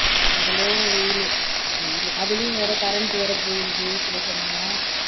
அவ்வளோ வெயிலு வெயிலு அதுலயும் வேற current வேற போயிடுது சில சமயம்